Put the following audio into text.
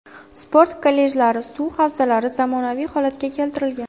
Sport kollejlari, suv havzalari zamonaviy holatga keltirilgan.